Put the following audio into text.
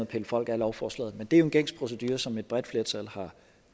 pille folk af lovforslaget men det er jo en gængs procedure som et bredt flertal